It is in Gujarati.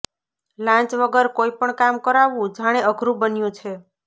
લાંચ વગર કોઈપણ કામ કરાવવું જાણે અઘરુ બન્યું છે